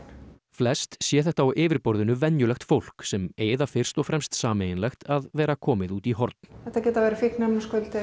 flest sé þetta á yfirborðinu venjulegt fólk sem eigi það fyrst og fremst sameiginlegt að vera komið út í horn þetta geta verið fíkniefnaskuldir